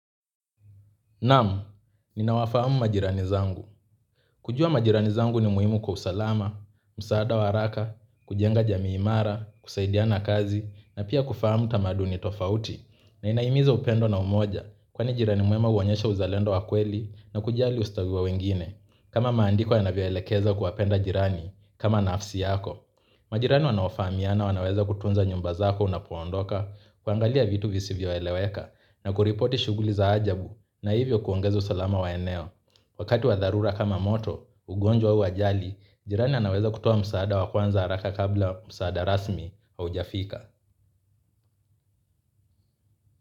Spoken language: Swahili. Nam, ninawafahamu majirani zangu. Kujua majirani zangu ni muhimu kwa usalama, msaada wa haraka, kujenga jamii imara, kusaidiana kazi, na pia kufahamu tamaduni tofauti, na inahimiza upendo na umoja, kwani jirani mwema huonyesha uzalendo wa kweli na kujali ustawi wa wengine, kama maandiko yanavyoelekezwa kuwapenda jirani, kama nafsi yako. Majirani wanaofahamiana wanaweza kutunza nyumba zako unapoondoka kuangalia vitu visivyoeleweka na kuripoti shuguli za ajabu na hivyo kuongeza usalama wa eneo. Wakati wa dharura kama moto, ugonjwa au ajali, jirani anaweza kutoa msaada wa kwanza haraka kabla msaada rasmi haujafika.